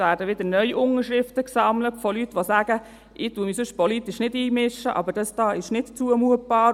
Es werden wieder neu Unterschriften von Leuten gesammelt, die sagen: «Ich mische mich sonst politisch nicht ein, aber das hier ist nicht zumutbar.»